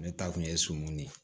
Ne ta kun ye sɔmi de ye